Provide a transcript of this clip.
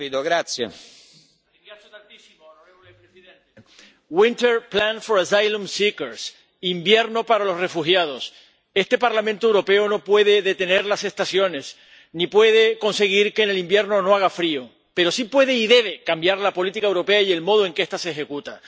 Señor presidente. invierno para los refugiados. Este Parlamento Europeo no puede detener las estaciones, ni puede conseguir que en el invierno no haga frío, pero sí puede y debe cambiar la política europea y el modo en que esta se ejecuta.